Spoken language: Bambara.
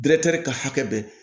ka hakɛ bɛ